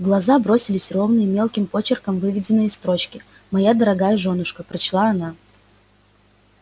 в глаза бросились ровные мелким почерком выведенные строчки моя дорогая жёнушка прочла она